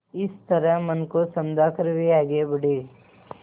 इस तरह मन को समझा कर वे आगे बढ़े